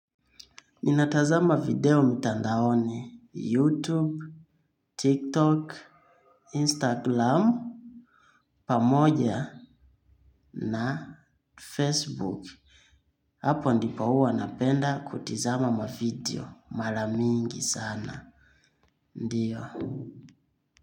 Ninatazama video mtandaoni YouTube, TikTok, Instagram, pamoja na Facebook. Hapo ndipo huwa napenda kutizama mavideo. Mara mingi sana. Ndiyo.